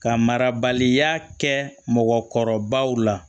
Ka marabaliya kɛ mɔgɔkɔrɔbaw la